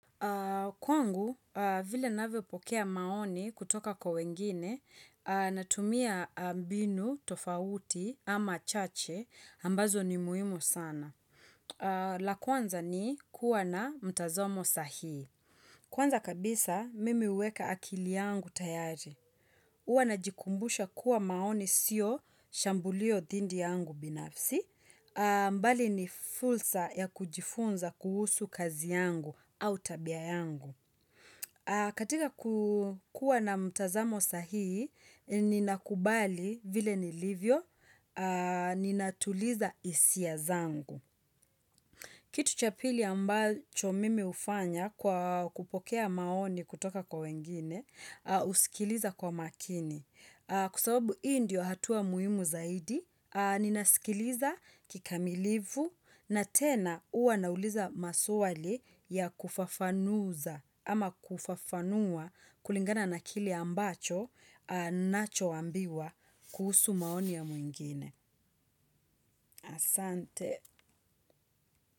Kwangu, vile navyopokea maoni kutoka kwa wengine, natumia mbinu tofauti ama chache ambazo ni muhimu sana. La kwanza ni kuwa na mtazamo sahihi. Kwanza kabisa, mimi huweka akili yangu tayari. Huwa na jikumbusha kuwa maoni sio shambulio dhidi yangu binafsi. Mbali ni fursa ya kujifunza kuhusu kazi yangu au tabia yangu katika kukua na mtazamo sahihi ninakubali vile nilivyo ninatuliza hisia zangu Kitu cha pili ambacho mimi hufanya kwa kupokea maoni kutoka kwa wengine husikiliza kwa makini Kwa sababu hii ndio hatua muhimu zaidi Ninasikiliza kikamilifu na tena huwa nauliza maswali ya kufafanuza ama kufafanua kulingana na kile ambacho nachoambiwa kuhusu maoni ya mwingine. Asante.